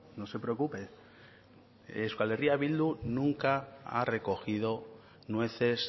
no se preocupe euskal herria bildu nunca ha recogido nueces